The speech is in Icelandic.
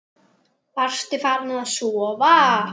Varstu farin að sofa?